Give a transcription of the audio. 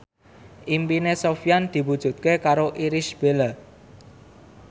impine Sofyan diwujudke karo Irish Bella